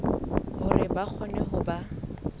hore ba kgone ho ba